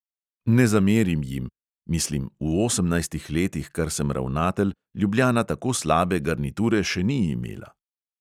Ne zamerim jim (mislim, v osemnajstih letih, kar sem ravnatelj, ljubljana tako slabe garniture še ni imela).